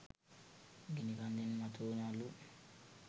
ගිනි කන්දෙන් මතු වුන අළු